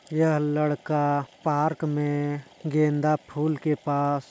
यह लड़का पार्क में गेंदा फूल के पास--